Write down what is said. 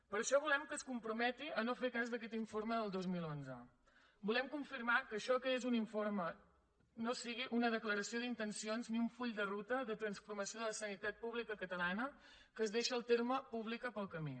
per això volem que es comprometi a no fer cas d’aquest informe del dos mil onze volem confirmar que això que és un informe no sigui una declaració d’intencions ni un full de ruta de transformació de la sanitat pública catalana que es deixa el terme pública pel camí